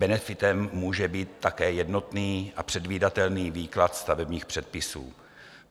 Benefitem může být také jednotný a předvídatelný výklad stavebních předpisů.